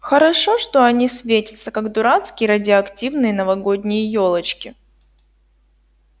хорошо что они светятся как дурацкие радиоактивные новогодние ёлочки